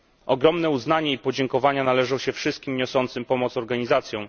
Ogromne uznanie i podziękowania należą się wszystkim niosącym pomoc organizacjom.